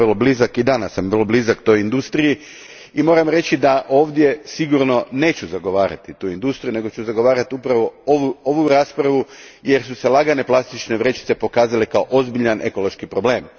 Bio sam vrlo blizak i danas sam vrlo blizak toj industriji i moram reći da ovdje sigurno neću zagovarati tu industriju, nego ću zagovarati upravo ovu raspravu, jer su se lagane plastične vrećice pokazale kao ozbiljan ekološki problem.